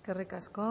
eskerrik asko